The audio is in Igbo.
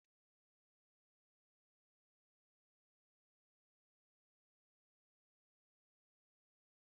Alex enweghị ike ịhapụ efere osikapa jellof na ọkụkọ e ghere eghe.